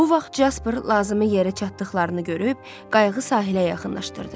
Bu vaxt Caspar lazımi yerə çatdıqlarını görüb qayıqı sahilə yaxınlaşdırdı.